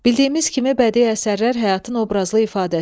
Bildiyimiz kimi, bədii əsərlər həyatın obrazlı ifadəsidir.